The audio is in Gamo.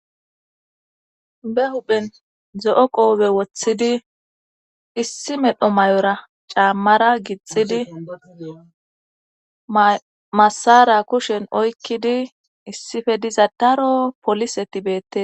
Be huphen zo'o qoobe woththidi issi medho may'ora caammara gixidi masara kushen oykkidi issife diza daro poliseti beette.